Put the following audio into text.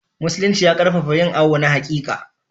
Musulinci ya ƙarfafa yin awo na haƙiƙa.